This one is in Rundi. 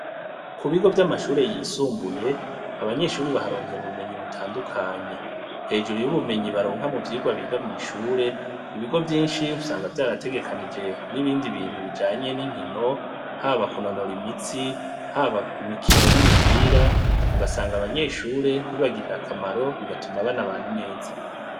Ku bigo vy'amashure yisumbuye, abanyeshure baharonkera ubumenyi butandukanye. Hejuru y'ubumenyi baronka mu vyigwa biga mw'ishure, ibigo vyinshi usanga vyarategekanije n'ibindi bintu bijanye n'inkino haba kunonora imitsi haba imikino y'imipira, ugasanga abanyeshure bibagirira akamaro bigatuma bana bana neza.